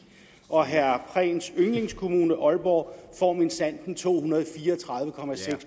og herre prehns yndlingskommune aalborg får minsandten to hundrede og fire og tredive